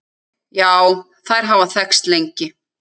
Já, þær hafa þekkst lengi.